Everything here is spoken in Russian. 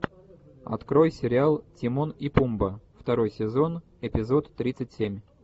открой сериал тимон и пумба второй сезон эпизод тридцать семь